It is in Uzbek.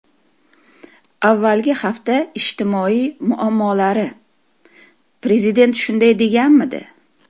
Avvalgi hafta ijtimoiy muammolari: Prezident shunday deganmidi?